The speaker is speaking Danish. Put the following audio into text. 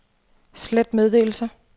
slet meddelelse